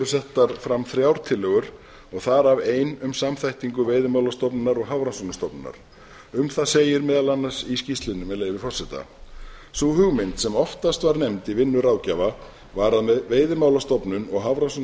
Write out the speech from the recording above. settar fram þrjár tillögur og þar af ein um samþættingu veiðimálastofnunar og hafrannsóknastofnunar um það segir meðal annars í skýrslunni með leyfi forseta sú hugmynd sem oftast var nefnd í vinnu ráðgjafa var að veiðimálastofnun og